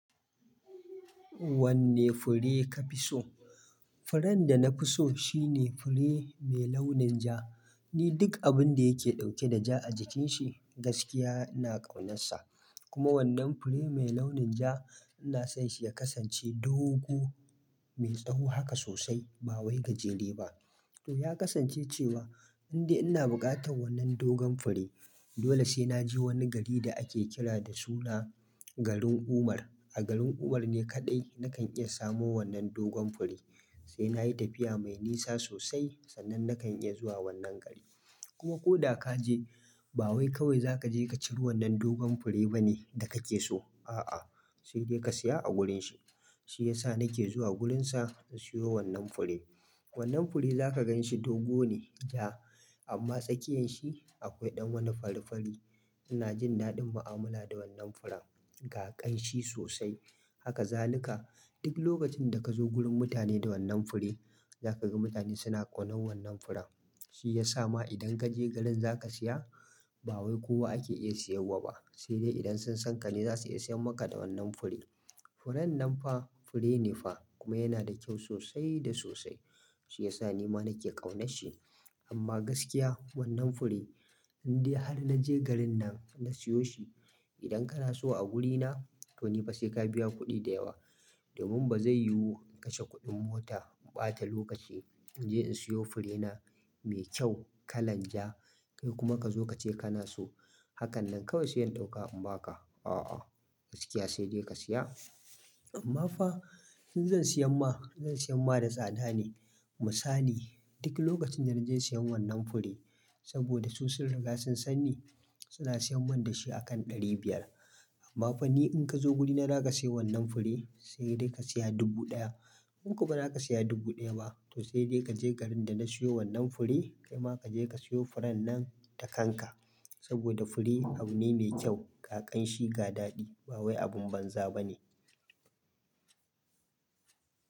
Wanne fure ka fi so? Furen da na fi so shine fure mai launin ja. Ni duk abun da yake dauke da ja a jikinshi gaskiya ina ƙaunansa. Kuma wannan fure mai launin ja ina san shi ya kasance dogo mai tsaho haka sosai ba wai gajere ba. To ya kasance cewa inda ina bukatan wannan dogon fure dole sai naje wani gari da ake kira da suna garin Umar. A garin Umar ne kaɗai nakan iya samo wannan dogon fure. Sai nayi tafiya mai nisa sosai sannan nakan iya zuwa wannan gari. Kuma ko da kaje ba wai kawai zakaje ka ci ri wannan dogon fure bane da kake so. A'a, sai dai ka siya a wurin shi. Shi yasa nake zuwa wurinsa in siyo wannan fure. Wannan fure zaka gan shi dogo ne ja amma tsakiyanshi akwai ɗan wani fari-fari. Ina jin daɗin mu'amala da wannan furen ga ƙanshi sosai. Haka zaluka duk lokacin da kazo gurin mutane da wannan fure zakaga mutane suna ƙaunan wannan furen. Shi yasa ma idan kaje garin zakasiya ba wai kowa ake iya siyowa ba. Sai dai idan sun san ka ne zasu iya siyan maka da wannan fure. Furen nan fa fure ne fa kuma yana da kyau sosai da sosai. Shi yasa nima nake ƙaunas shi. Amma gaskiya wannan fure indai har naje garin nan in siyo shi idan kana so a wurina to ni fa sai ka biya kuɗi da yawa. Domin bazai yiwu in kashe kuɗin mota in ɓata lokaci inje in siyo furena me kyau kalan ja kai kuma ka zo kace kana so. Hakan nan kawai sai in ɗauka in baka. A'a, gaskiya sai dai ka siya. Amma fa in zan siya ma zan siya ma da tsada ne. Misali duk lokacin da zan je siyan wannan fure saboda su sun riga sun sani suna siyan man da shi akan ɗari biyar. Amma fa ni in kazo wurina zaka siyi wannan fure sai dai ka siya dubu ɗaya. In kuma ba zaka siya dubu ɗaya ba to sai dai kaje garin da na siyo wannan fure kai ma kaje ka siyo furen nan da kanka. Saboda fure abu ne mai kyau ga ƙanshi ga daɗi ba wai abun banza bane.